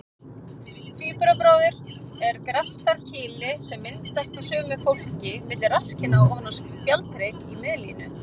Tvíburabróðir er graftarkýli sem myndast á sumu fólki milli rasskinna ofan á spjaldhrygg í miðlínu.